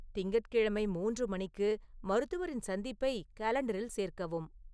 திங்கட்கிழமை மூன்று மணிக்கு மருத்துவரின் சந்திப்பை காலண்டரில் சேர்க்கவும்